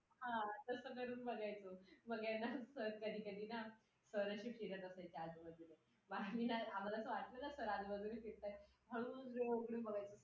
घरा बाहेरून घरात आले आई नाही दिसली ना की कस तरी होत. एकदा का आईला भेटले थोडस बोललं की चांगल वाटायला लागत.एकदम ok वाटायला लागत.